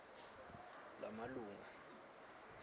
lamalunga